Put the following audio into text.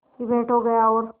की भेंट हो गया और